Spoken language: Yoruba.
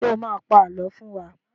Ṣé ẹ má a pa àlọ́ fún wa?